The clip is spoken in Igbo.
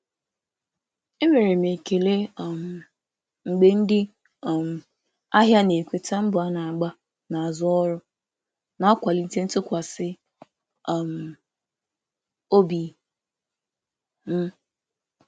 M na-enwe ekele mgbe ndị ahịa na-ekwupụta mbọ dị n’azụ ozi, na-eme ka ntụkwasị obi m dịkwuo elu.